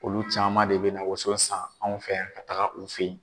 Olu caman de bɛ na woso san anw fɛ yan ka taga u fɛ yen.